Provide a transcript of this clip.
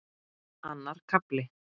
Annar kafli